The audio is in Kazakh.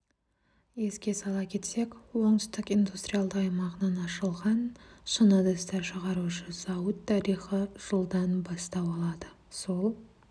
еске сала кетсек оңтүстік индустриалды аймағынан ашылған шыны ыдыстар шығарушы зауыт тарихы жылдан бастау алады сол